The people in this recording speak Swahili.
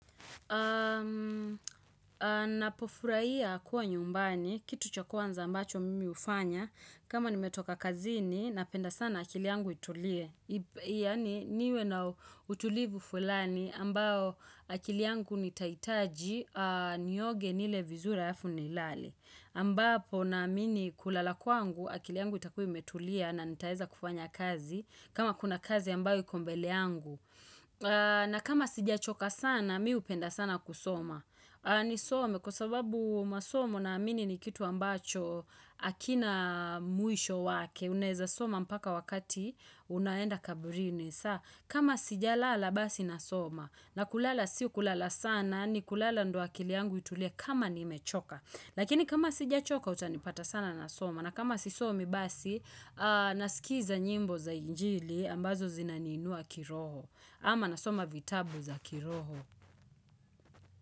Napofurahia kuwa nyumbani, kitu cha kwanza ambacho mimi hufanya kama nimetoka kazini napenda sana akili yangu itulie Yaani niwe na utulivu fulani ambao akili yangu nitahitaji nioge, nile vizuri halafu nilale ambapo naamini kulala kwangu akili yangu itakuwa imetulia na nitaweza kufanya kazi, kama kuna kazi ambayo iko mbele yangu na kama sijachoka sana mimi hupenda sana kusoma Nisome kwa sababu masomo naamini ni kitu ambacho hakina mwisho wake. Unaweza soma mpaka wakati unaenda kaburini kama sijalala basi nasoma. Na kulala sio kulala sana yaani kulala ndio akili yangu itulie kama nimechoka. Lakini kama sijachoka utanipata sana nasoma. Na kama sisomi basi nasikiza nyimbo za injili ambazo zinaniinua kiroho. Ama nasoma vitabu za kiroho.